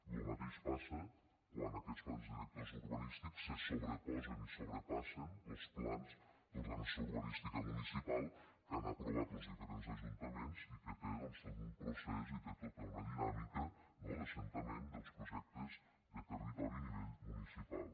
lo mateix passa quan aquests plans directors urbanístics se sobreposen i sobrepassen los plans d’ordenació urbanística municipal que han aprovat los diferents ajuntaments i que tenen doncs tot un procés i tenen tota una dinàmica no d’assentament dels projectes de territori a nivell municipal